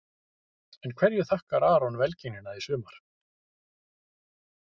En hverju þakkar Aron velgengnina í sumar?